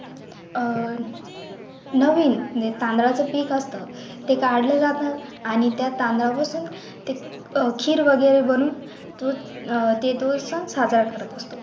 अह नवीन आणि तांदळाचं पीठ असतं ते काढलं जातं आणि त्या तांदळा बरोबर ते खीर वगैरे बनवून दूध ते दूध पण साजरा करत असतो